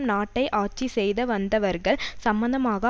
நாட்டை ஆட்சி செய்து வந்தவர்கள் சம்பந்தமாக